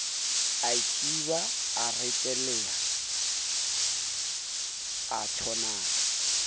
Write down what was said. aithiba a reteleha a thonaka